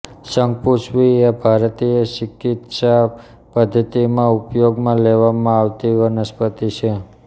શંખપુષ્પી એ ભારતીય ચિકિત્સા પદ્ધત્તિમાં ઉપયોગમાં લેવામાં આવતી વનસ્પતિ છે